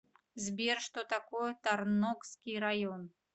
сбер что такое тарногский район